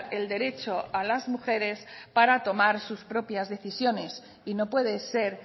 el derecho a las mujeres para tomar sus propias decisiones y no puede ser